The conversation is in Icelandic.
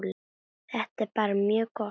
Þetta er bara mjög gott.